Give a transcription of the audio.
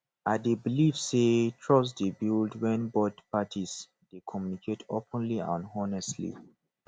i dey believe say trust dey build when both parties dey communicate openly and honestly